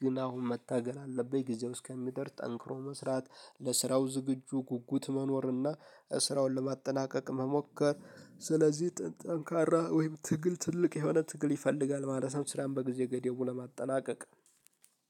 ግን አሁን መታገል አለብኝ። ጊዜው እስከሚደርስ ጠንክሮ መስራት ለስራው ዝግጁ ጉጉት መኖርና ስራውን ለማጠናቀቅ መሞከር ስለዚህ ጠንካራ ወይም ትግል ትልቅ የሆነ ትግል ይፈልጋል ማለት ነው ስራን በጊዜ ገደቡ ለማጠናቀቅ።